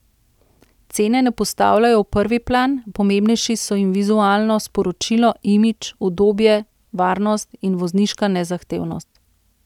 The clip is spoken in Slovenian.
Cene ne postavljajo v prvi plan, pomembnejši so jim vizualno sporočilo, imidž, udobje, varnost in vozniška nezahtevnost.